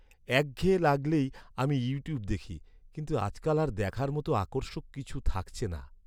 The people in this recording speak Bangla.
একঘেয়ে লাগলেই আমি ইউটিউব দেখি। কিন্তু আজকাল আর দেখার মতো আকর্ষক কিছু থাকছে না।